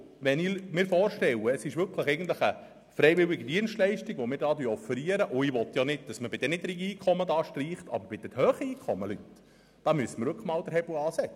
Wenn ich mir vorstelle, dass wir eigentlich eine freiwillige Dienstleistung offerieren, wobei ich nicht will, dass man bei den niedrigen Einkommen Beträge streicht, müsste man bei den hohen Einkommen wirklich einmal den Hebel ansetzen.